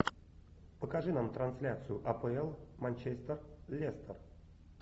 покажи нам трансляцию апл манчестер лестер